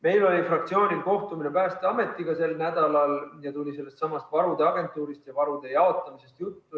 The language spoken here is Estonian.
Meil oli fraktsioonil sel nädalal kohtumine Päästeametiga ja tuli juttu ka sellestsamast varude agentuurist ja varude jaotamisest.